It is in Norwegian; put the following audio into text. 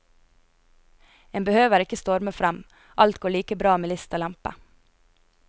En behøver ikke storme frem, alt går like bra med list og lempe.